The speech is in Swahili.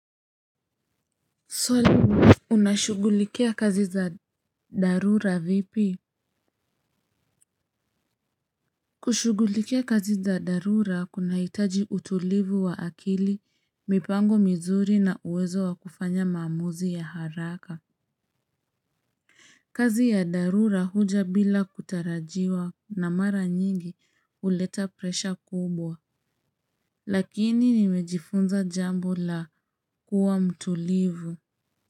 Swali unashughulikia kazi za dharura vipi? Kushughulikia kazi za dharura kunahitaji utulivu wa akili, mipango mizuri na uwezo wa kufanya maamuzi ya haraka. Kazi ya dharura huja bila kutarajiwa na mara nyingi huleta presha kubwa, lakini nimejifunza jambo la kuwa mtulivu.